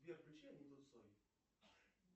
сбер включи аниту цой